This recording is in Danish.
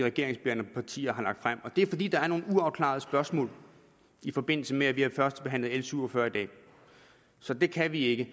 regeringsbærende partier har lagt frem og det er fordi der er nogle uafklarede spørgsmål i forbindelse med at vi har førstebehandlet l syv og fyrre i dag så det kan vi ikke